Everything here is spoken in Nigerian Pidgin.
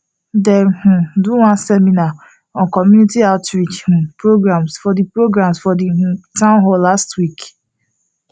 dem um do one seminar on community outreach um programs for the programs for the um town hall last week